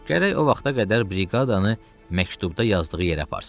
Gərək o vaxta qədər briqadanı məktubda yazdığı yerə aparsın.